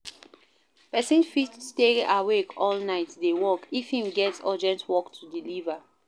Persin fit stay awake all night de work if im get urgent work to deliever